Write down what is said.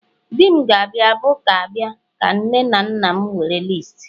di m ga-abu ga-abia ka nne na nna m were listi